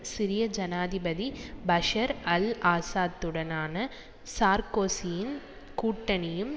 சிரிய ஜனாதிபதி Bashar al ஆசாத்துடனான சார்கோசியின் கூட்டணியும்